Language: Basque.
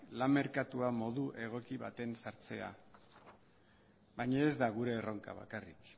lan merkatuan modu egoki baten sartzea baina ez da gure erronka bakarrik